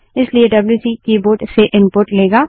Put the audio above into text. इसलिए W C keyboard से input लेगा